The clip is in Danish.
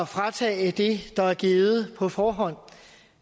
fratage det der er givet på forhånd